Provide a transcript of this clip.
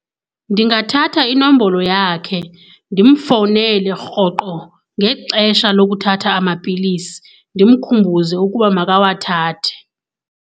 Ndingathatha inombolo yakhe ndimfowunele rhoqo ngexesha lokuthatha amapilisi ndimkhumbuze ukuba makawathathe.